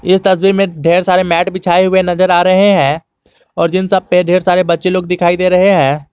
इस तस्वीर में ढेर सारे मैट बिछाए हुए नजर आ रहे हैं और जिन सब पे ढेर सारे बच्चे लोग दिखाई दे रहे हैं।